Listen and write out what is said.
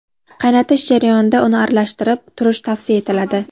Qaynatish jarayonida uni aralashtirib turish tavsiya etiladi.